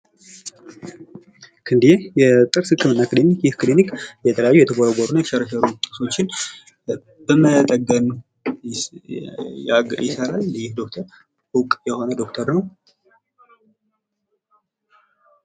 ክንዴ የጥርስ ህክምና ክሊኒክ፤ ይህ ክሊኒክ የተለያዩ የተቦረቦሩና የተሸረሸሩ ጥርሶችን መጠገን ይሰራል። ይህ ዶክተር እውቅ የሆነ ዶክተር ነው።